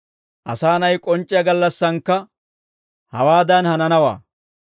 «Asaa na'ay k'onc'c'iyaa gallassaankka hawaadan hananawaa.